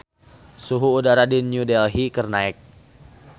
Suhu udara di New Delhi keur naek